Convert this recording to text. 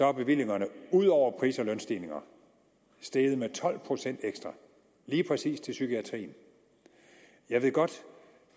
er bevillingerne ud over pris og lønstigninger steget med tolv procent lige præcis til psykiatrien jeg ved godt